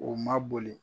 O ma boli